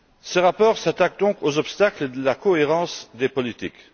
Ce rapport s'attaque donc aux obstacles à la cohérence des politiques.